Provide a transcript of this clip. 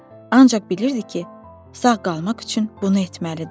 Ancaq bilirdi ki, sağ qalmaq üçün bunu etməlidir.